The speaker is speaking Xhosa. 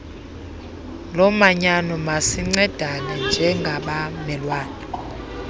lomanyano masincedane njengabamelwane